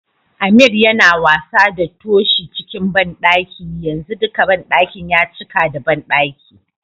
Ameer Yana wasa da Toshi cikin banɗaki yanzu dika banɗakin ya cika da banɗaki.